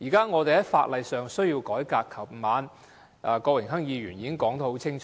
我們現時需要改革法例，而郭榮鏗議員昨晚已說得很清楚。